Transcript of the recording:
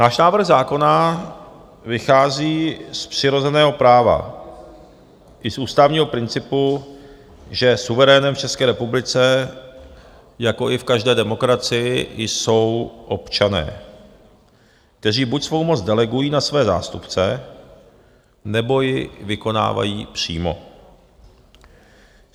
Náš návrh zákona vychází z přirozeného práva i z ústavního principu, že suverénem v České republice, jako i v každé demokracii, jsou občané, kteří buď svou moc delegují na své zástupce, nebo ji vykonávají přímo.